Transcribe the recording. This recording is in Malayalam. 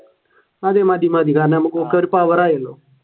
മതി മതി മതി കാരണം ഞമ്മക്കൊക്കെ ഒരു power ആയല്ലോ